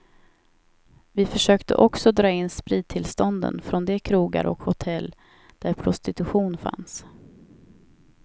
Vi försökte också dra in sprittillstånden från de krogar och hotell där prostitution fanns.